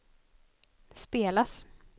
spelas